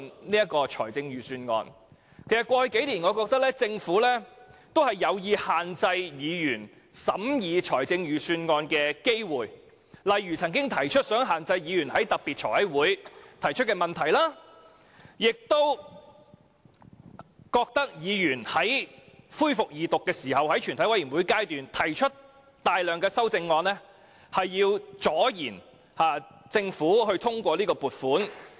我認為，在過去幾年，政府有意限制議員審議預算案的機會，例如當局曾表示有意限制議員在財務委員會特別會議上提出的問題；並表示議員在恢復二讀及全體委員會審議階段提出大量修正案，是要阻延撥款通過。